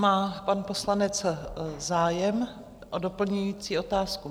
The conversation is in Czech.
Má pan poslanec zájem o doplňující otázku?